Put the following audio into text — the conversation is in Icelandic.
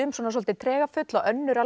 svolítið tregafull og önnur